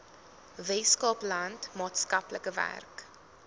weskaapland maatskaplike werk